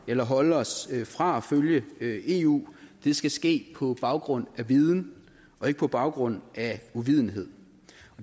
eller holde os fra at følge eu skal ske på baggrund af viden og ikke på baggrund af uvidenhed